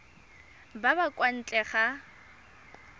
ba ba kwa ntle ga